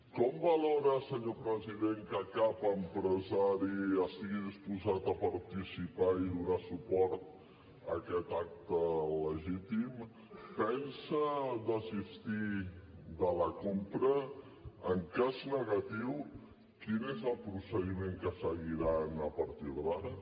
com valora senyor president que cap empresari estigui disposat a participar i donar suport a aquest acte il·legítim pensa desistir de la compra en cas negatiu quin és el procediment que seguiran a partir d’ara